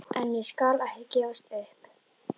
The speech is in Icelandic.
En ég skal ekki gefast upp.